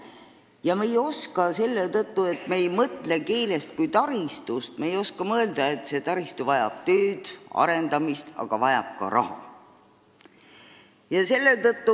Ja kuna me ei mõtle keelest kui taristust, siis me ei oska ka mõelda, et see taristu vajab tööd, arendamist, samuti raha.